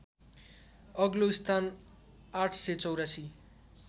अग्लो स्थान ८८४